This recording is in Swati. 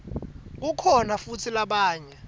kukhona futsi labanye